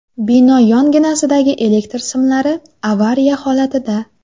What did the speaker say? Bino yonginasidagi elektr simlari avariya holatida.